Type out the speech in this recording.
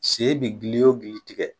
Sen bɛ gili o gili tigɛ,